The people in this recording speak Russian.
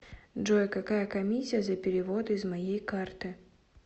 джой какая комиссия за переводы из моей карты